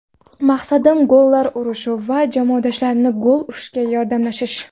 Maqsadim gollar urish va jamoadoshlarimning gol urishiga yordamlashish.